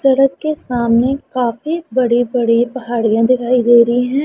सड़क के सामने काफी बड़े बड़े पहाड़ियां दिखाई दे रही हैं।